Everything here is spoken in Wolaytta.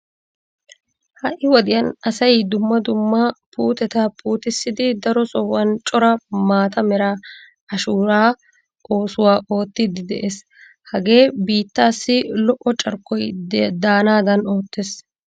Ha"i wodiyan asay umma dumma puuteta puutissidi daro sohuwan cora maata mera ashuuraa oosuwa oottiiddi de'ees. Hagee biittaassi lo"o carkkoy daanaadan oottees.